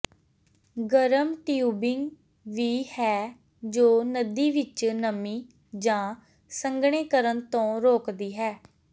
ਗਰਮ ਟਿਊਬਿੰਗ ਵੀ ਹੈ ਜੋ ਨਦੀ ਵਿੱਚ ਨਮੀ ਜਾਂ ਸੰਘਣੇ ਕਰਨ ਤੋਂ ਰੋਕਦੀ ਹੈ